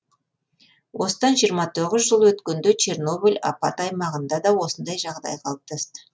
осыдан жиырма тоғыз жыл өткенде чернобыль апат аймағында да осындай жағдай қалыптасты